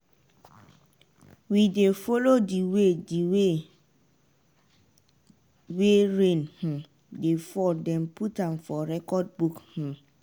we dey follow di way di way wey rain um dey fall den put am for recordbook um